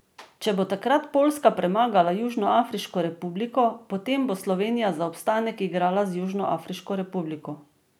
Če bo takrat Poljska premagala Južnoafriško republiko, potem bo Slovenija za obstanek igrala z Južnoafriško republiko.